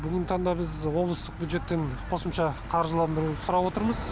бүгінгі таңда біз облыстық бюджеттен қосымша қаржыландыру сұрап отырмыз